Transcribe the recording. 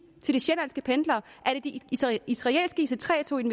til de sjællandske pendlere er det de israelske ic3 tog